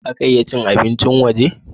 Za ka iya cin abincin waje?